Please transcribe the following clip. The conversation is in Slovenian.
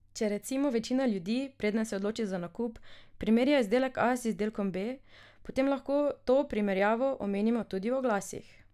Če recimo večina ljudi, preden se odloči za nakup, primerja izdelek A z izdelkom B, potem lahko to primerjavo omenimo tudi v oglasih.